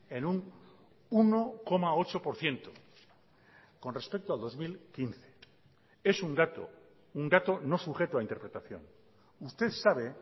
en un uno coma ocho por ciento con respecto a dos mil quince es un dato un dato no sujeto a interpretación usted sabe